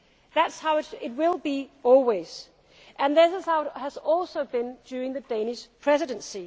That is how it will be always and this is how it has also been during the Danish Presidency.